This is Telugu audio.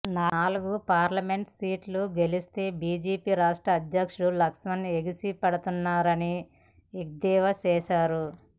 నాలుగు పార్లమెంటు సీట్లు గెలిస్తే బీజేపీ రాష్ట్ర అధ్యక్షుడు లక్ష్మణ్ ఎగిసి పడుతున్నారని ఎద్దేవా చేశారు